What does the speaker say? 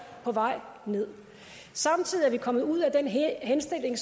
på vej nederst samtidig er vi kommet ud af den henstilling